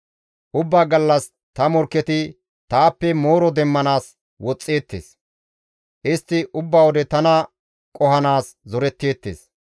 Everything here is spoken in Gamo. Ubbaa gallas ta morkketi taappe mooro demmanaas woxxeettes; istti ubba wode tana qohanaas zoretteettes.